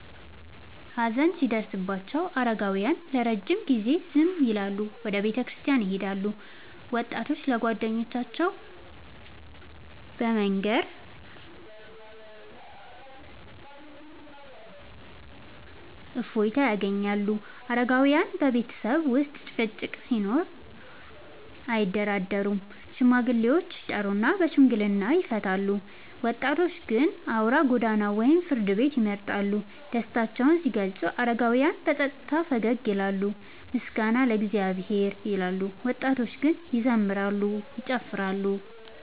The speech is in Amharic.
ሀዘን ሲደርስባቸው አረጋውያን ለረጅም ጊዜ ዝም ይላሉና ወደ ቤተክርስቲያን ይሄዳሉ፤ ወጣቶች ለጓደኞቻቸው በመናገር እፎይታ ያገኛሉ። አረጋውያን በቤተሰብ ውስጥ ጭቅጭቅ ሲኖር አያደራደሩም፤ ሽማግሌዎችን ይጠሩና በሽምግልና ይፈቱታል። ወጣቶች ግን አውራ ጎዳና ወይም ፍርድ ቤት ይመርጣሉ። ደስታቸውን ሲገልጹ አረጋውያን በጸጥታ ፈገግ ይላሉና “ምስጋና ለእግዚአብሔር” ይላሉ፤ ወጣቶች ግን ይዘምራሉ፤ ይጨፍራሉ።